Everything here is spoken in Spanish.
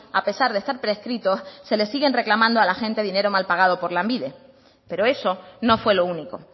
a pesar de estar prescritos se les siguen reclamando a la gente dinero mal pagado por lanbide pero eso no fue lo único